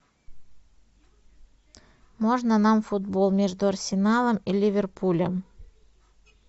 можно нам футбол между арсеналом и ливерпулем